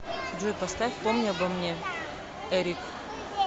джой поставь помни обо мне эрик